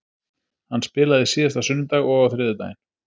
Hann spilaði síðasta sunnudag og á þriðjudaginn.